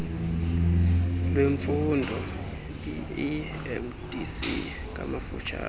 lwemfundo iiemdc ngamafuphi